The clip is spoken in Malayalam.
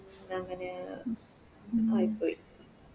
അങ്ങനെയായിന്നു ആയിപോയി